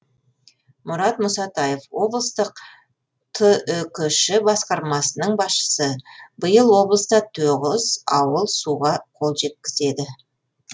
мұрат мұсатаев облыстық түкш басқармасының басшысы биыл облыста тоғыз ауыл суға қол жеткізеді